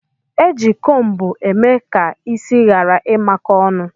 Eji cómbu eme ka isi ghara imako ọnụ.